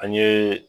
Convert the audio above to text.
An ye